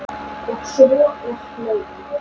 Og svo er hlegið.